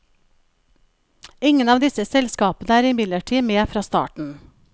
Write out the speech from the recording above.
Ingen av disse selskapene er imidlertid med fra starten.